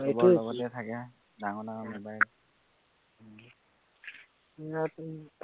থাকে ডাঙৰ ডাঙৰ mobile